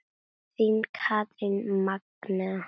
Þín Katrín Magnea.